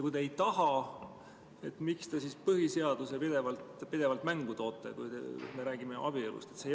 Kui te ei taha, miks te siis põhiseaduse pidevalt mängu toote, kui me räägime abielust?